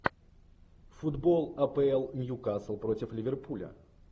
футбол апл ньюкасл против ливерпуля